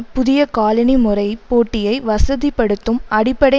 புதிய காலனி முறை போட்டியை வசதிப்படுத்தும் அடிப்படை